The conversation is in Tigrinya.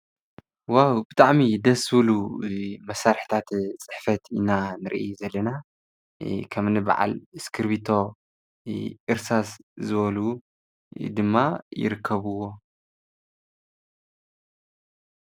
ዋው ብጣዕሚ እዩ ደስ ዝብሉ መሳርሕታት ፅሕፈት ኢና ንርኢ ዘለና ከምኒ በዓል እስክርቢቶ ፣ እርሳስ ዝበሉ ድማ ይርከብዎ።